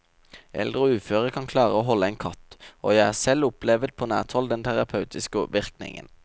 Eldre og uføre kan klare å holde en katt, og jeg har selv opplevet på nært hold den terapeutiske virkningen.